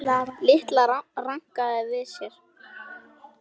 Lilla rankaði við sér.